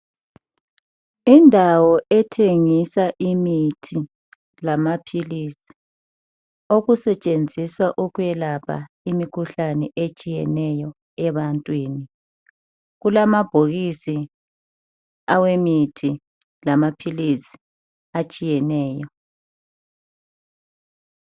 Indawo wthengisa imithi lamaphilizi okusetshenziswa ukwelapha imikhuhlane etshiyeneyo ebantwini kulamabhokisi awemithi lamaphilizi atshiyeneyo.